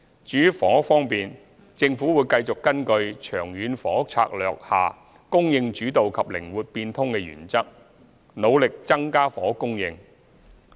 至於房屋方面，政府會繼續根據《長遠房屋策略》下"供應主導"及"靈活變通"的原則，努力增加房屋供應。